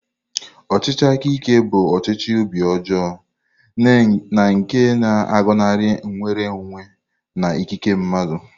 Ọchịchị aka ike bụ ọchịchị obi ọjọọ na nke na-agọnarị nnwere onwe na ikike mmadụ.